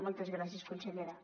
moltes gràcies consellera